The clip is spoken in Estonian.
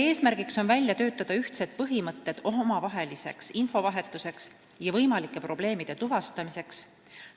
Eesmärk on töötada välja ühtsed põhimõtted omavaheliseks infovahetuseks ja võimalike probleemide tuvastamiseks.